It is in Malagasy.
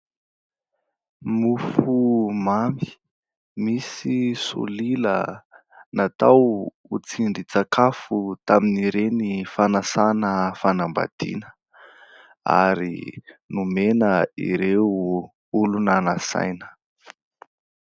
Mofomamy misy solila natao ho tsindrin-tsakafo tamin'ireny fanasana fanambadiana ary nomena ireo olona nasaina.